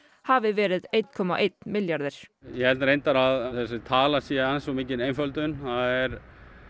hafi verið einn komma einn milljarður ég held að þessi tala sé aðeins of mikil einföldum það er